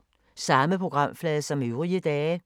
Samme programflade som øvrige dage